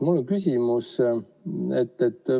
Mul on küsimus.